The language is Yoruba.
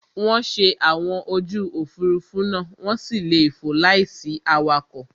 Wọ́n ń ṣe àwọn ojú Òfurufú náà, wọ́n sì lè fò láìsí awakọ̀